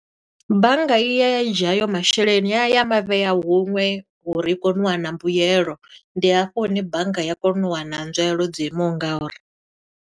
Bannga i yaya ya dzhia hayo masheleni, yaya ya mavhea huṅwe uri i kone u wana mbuyelo. Ndi hafho hune bannga ya kona u wana nzwalelo dzo imaho nga uri.